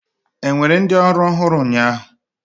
Enwere ndị ọrụ ọhụrụ ụnyaahụ?